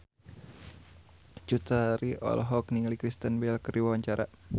Cut Tari olohok ningali Kristen Bell keur diwawancara